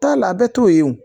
Taa la a bɛɛ t'o ye o